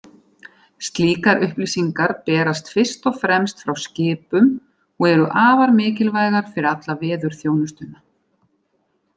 Slíkar upplýsingar berast fyrst og fremst frá skipum og eru afar mikilvægar fyrir alla veðurþjónustuna.